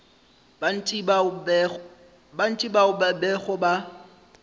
bantši bao ba bego ba